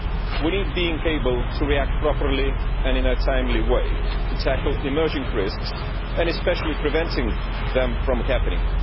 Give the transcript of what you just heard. We need to be able to react properly and in a timely way to tackle emerging risks and especially to prevent them from happening.